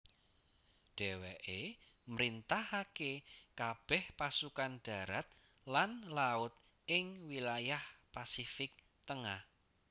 Dheweke mrintahake kabeh pasukan darat lan laut ingwilayah Pasifik Tengah